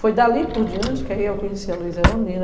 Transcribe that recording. Foi dali por diante que eu conheci a Luiza Eronina.